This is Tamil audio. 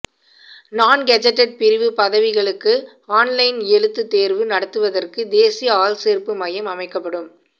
நான் கெஜட்டட் பிரிவு பதவிகளுக்கு ஆன்லைன் எழுத்துத் தேர்வு நடத்துவதற்கு தேசிய ஆள்சேர்ப்பு மையம் அமைக்கப்படும்